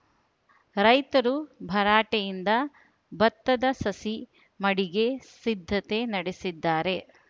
ರೈತರು ಭರಾಟೆಯಿಂದ ಭತ್ತದ ಸಸಿ ಮಡಿಗೆ ಸಿದ್ದತೆ ನಡೆಸಿದ್ದಾರೆ